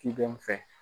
Ciden fɛ